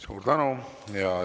Suur tänu!